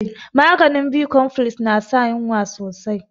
Maganin bicompfiles na sa yunwa sosai